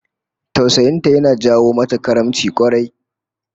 Tausayin ta yana jawo mata karimci kwarai